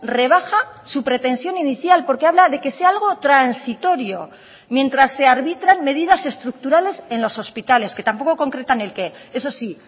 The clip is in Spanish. rebaja su pretensión inicial porque habla de que sea algo transitorio mientras se arbitran medidas estructurales en los hospitales que tampoco concretan el qué eso sí